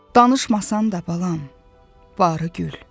Danışmasan da balam, barı gül.